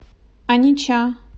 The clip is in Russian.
онича